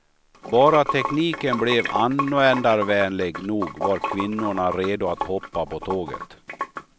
Bara tekniken blev användarvänlig nog var kvinnorna redo att hoppa på tåget.